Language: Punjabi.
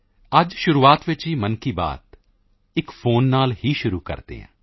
ਅੱਜ ਸ਼ੁਰੂਆਤ ਵਿੱਚ ਹੀ ਮਨ ਕੀ ਬਾਤ ਇੱਕ ਫੋਨ ਕਾਲ ਨਾਲ ਹੀ ਸ਼ੁਰੂ ਕਰਦੇ ਹਾਂ